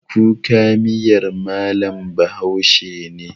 Kuka miyar mallam bahaushe ne